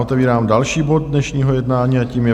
Otevírám další bod dnešního jednání a tím je